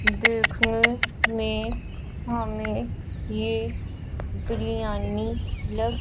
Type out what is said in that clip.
देखने में हमे ये बिरयानी लग--